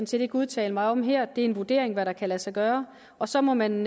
set ikke udtale mig om her det er en vurdering af hvad der kan lade sig gøre og så må man